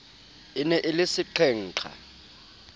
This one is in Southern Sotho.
e ne e le seqhenqha